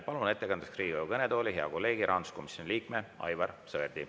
Palun ettekandeks Riigikogu kõnetooli hea kolleegi, rahanduskomisjoni liikme Aivar Sõerdi.